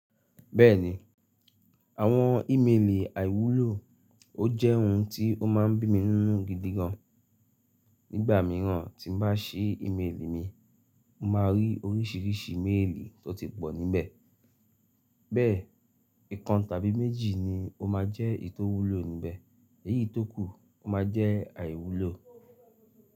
Bẹ́ẹ̀ni àwọn ímeèlì àìwúlò, ó jẹ́ ohun tí ó má ń bí mi ninu gidi gan. Nígbà mìíràn tí n bá ṣi ímeèlì mi, mo máa rí oríṣìíríṣìí méèlì tó ti pọ̀ níbẹ̀. Bẹ́ẹ̀, ìkan tàbí méjì ni ó máa jẹ́ iyi tó wúlò níbẹ̀, èyí tó kù ó máa jẹ́ àìwúlò.